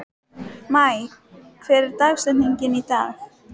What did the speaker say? Maj, hver er dagsetningin í dag?